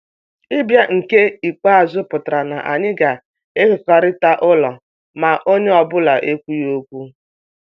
Ịbịa nke ikpeazụ pụtara na anyị ga-ekekọrịta ụlọ, ma onye ọ bụla ekwughị okwu.